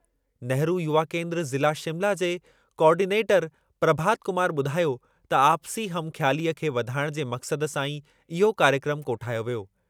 नेहरू युवा केंद्रु ज़िला शिमला जे कोआर्डीनेटरु प्रभात कुमार ॿुधायो त आपसी हमख़्यालीअ खे वधाइण जे मक़सदु सां ई इहो कार्यक्रमु कोठायो वियो।